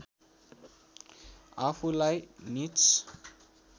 आफुलाई नीच